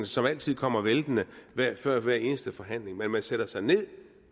som altid kommer væltende før hver eneste forhandling man man sætter sig